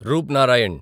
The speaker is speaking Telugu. రూప్నారాయణ్